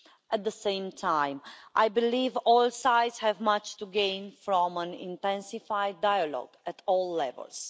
At the same time, I believe that all sides have much to gain from an intensified dialogue at all levels.